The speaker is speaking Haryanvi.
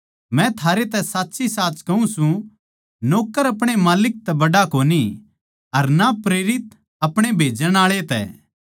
मै थारै तै साच्चीसाच कहूँ सूं नौक्कर अपणे माल्लिक तै बड्ड़ा कोनी अर ना प्रेरित अपणे भेजण आळे तै